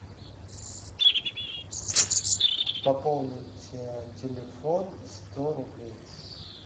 пополнить телефон сто рублей